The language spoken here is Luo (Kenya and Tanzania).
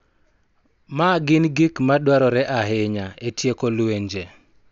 Ma gin gik ma dwarore ahinya e tieko lwenje.